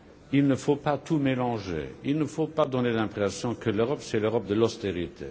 Il ne faut pas tout mélanger Il ne faut pas donner l'impression que l'Europe, c'est l'Europe de l'austérité.